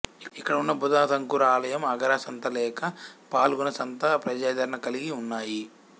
ఇక్కడ ఉన్న బుధ తంకురా ఆలయం అగరా సంత లేక ఫల్గుణా సంత ప్రజాదరణ కలిగి ఉన్నాయి